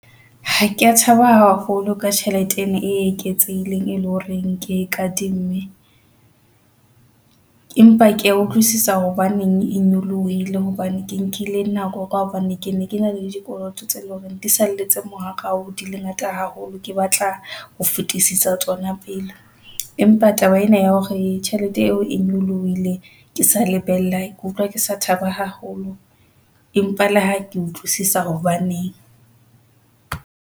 Ha ke ya thaba haholo ka tjhelete ena e eketsehileng e leng hore ke e kadime .Empa ke ya utlwisisa hobaneng e nyolohile hobane ke nkile nako ka hobane ke ne ke na le dikoloto tse leng hore di salletse morao, di le ngata haholo.Ke batla ho fetisisa tsona pele. Empa taba ena ya hore tjhelete eo e nyolohile. Ke sa lebella, ke utlwa ke sa thaba haholo. Empa le ha ke utlwisisa hobaneng.